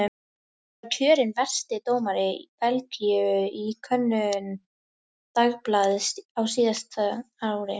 Hann var kjörinn versti dómari Belgíu í könnun dagblaðs á síðasta ári.